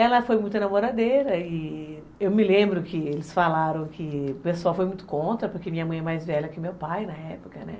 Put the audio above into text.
Ela foi muito namoradeira e eu me lembro que eles falaram que o pessoal foi muito contra, porque minha mãe é mais velha que meu pai na época, né?